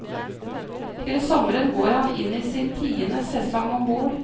Til sommeren går han inn i sin tiende sesong om bord.